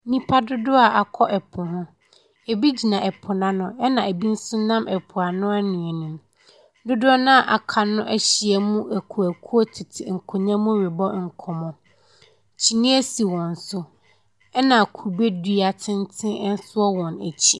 Nnipa dodoɔ a wɔakɔ po ho. Ɛbi gyina po no ano, ɛna ɛbi nso nam ɛpo ano anwea no mu. Dodoɔ no a wɔaka no ahyia mu akuoakuo tete nkonnwa mu rebɔ nkɔmmɔ. Kyiniiɛ si wɔn so, ɛna kube dua tenten nso wɔ wɔn akyi.